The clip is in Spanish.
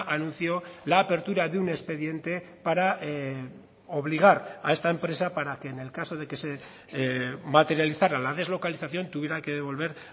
anunció la apertura de un expediente para obligar a esta empresa para que en el caso de que se materializara la deslocalización tuviera que devolver